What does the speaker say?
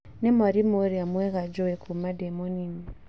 Nĩ mwarimũ ĩria mwega njũĩ kuma ndĩ mũnini